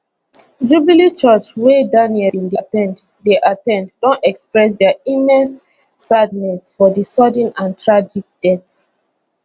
jubilee church wey daniel bin dey at ten d dey at ten d don express dia immense sadness for di sudden and tragic death